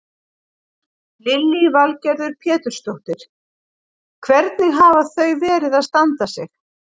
Lillý Valgerður Pétursdóttir: Hvernig hafa þau verið að standa sig?